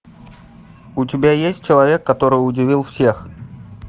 у тебя есть человек который удивил всех